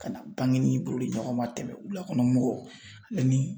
Ka na bangenin bolidiɲɔgɔnma tɛmɛ wulakɔnɔ mɔgɔw ale ni